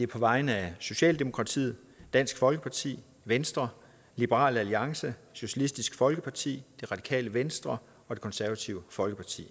på vegne af socialdemokratiet dansk folkeparti venstre liberal alliance socialistisk folkeparti det radikale venstre og det konservative folkeparti